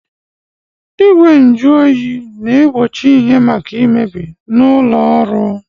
Igwanjụọyị na-egbochi ihe maka imebi n’ụlọọrụ